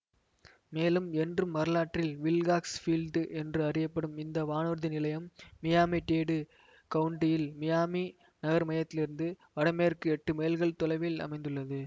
மேலும் என்றும் வரலாற்றில் வில்காக்ஸ் ஃபீல்டு என்று அறியப்படும் இந்த வானூர்தி நிலையம் மியாமிடேடு கவுன்ட்டியில் மியாமி நகர்மையத்திலிருந்து வடமேற்கே எட்டு மைல்கள் தொலைவில் அமைந்துள்ளது